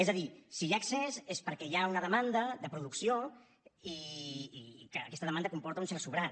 és a dir si hi ha excés és perquè hi ha una demanda de producció i aquesta demanda comporta un cert sobrant